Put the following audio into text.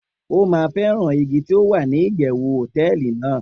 o ma feran igi ti o wa ni iyewu hoteeli nàá